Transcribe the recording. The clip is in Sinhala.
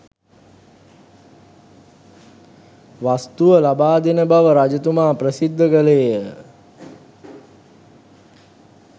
වස්තුව ලබාදෙන බව රජතුමා ප්‍රසිද්ධ කළේ ය.